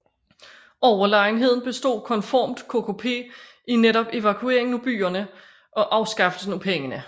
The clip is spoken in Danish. Overlegenheden bestod konformt KKP i netop evakueringen af byerne og afskaffelsen af pengene